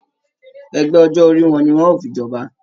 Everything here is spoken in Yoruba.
Ẹgbẹ ọjọ orí wò ní wọn o fí jọba?